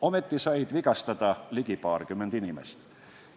Ometi sai vigastada ligi paarkümmend inimest.